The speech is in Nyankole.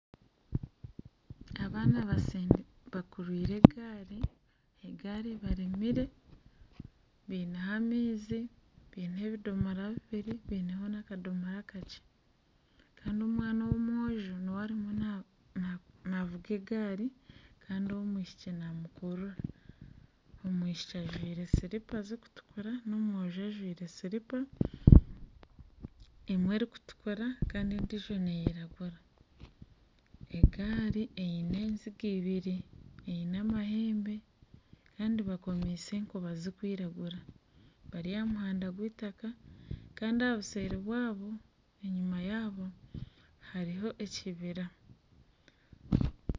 Abaana bakurwire egaari, egaari ebaremire biineho amaizi bineho ebidomora bibiri bineho n'akadomora akakye kandi omwana w'omwojo niwe arimu navuga egaari kandi ow'omwishiki namukurura, omwishiki ajwaire silipa zikutukura kandi omwojo ajwaire silipa emwe erikutukura kandi endiijo neyiragura egaari eine enziga ibiri, eine amahembe kandi bakomise enkoba zikwiragura bari aha muhanda gw'itaka kandi aha buseeri yaabo enyima yaabo hariho ekibira.